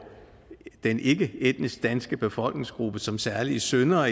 den ikkeetnisk danske befolkningsgruppe som særlige syndere